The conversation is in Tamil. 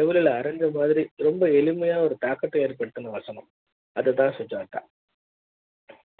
எவ்வளவு அறிஞர் மாதிரி ரொம்ப எளிமை யா ஒரு தாக்கத்தை ஏற்படுத்தின வசனம் அதுதான்சுஜாதா